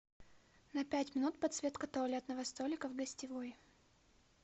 на пять минут подсветка туалетного столика в гостевой